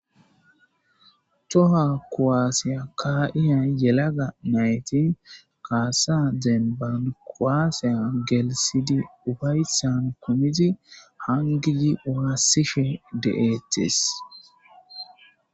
Towa kuwase ka'iza yelaga nayti kasa demban kuwasa gelthidi upaysan kumidi hayi kezi wasishe de'etes